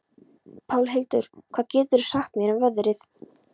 Pálhildur, hvað geturðu sagt mér um veðrið?